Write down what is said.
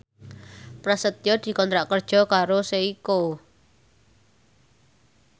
Prasetyo dikontrak kerja karo Seiko